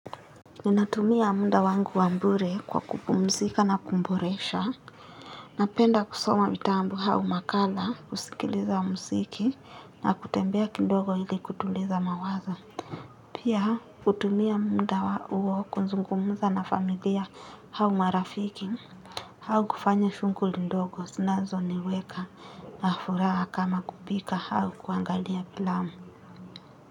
Ninatumia muda wangu wa bure kwa kupumzika na kuboresha. Napenda kusoma vitabu au makala, kusikiliza mziki, na kutembea kidogo ili kutuliza mawazo. Pia hutumia muda wa uo kuzungumuza na familia au marafiki, au kufanya shunguli ndogo sinazoniweka na furaha kama kupika au kuangalia filamu.